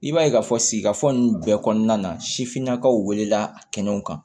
I b'a ye k'a fɔ sigikafo ninnu bɛɛ kɔnɔna na sifinnakaw wele la kɛnɛw kan